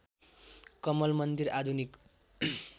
कमल मन्दिर आधुनिक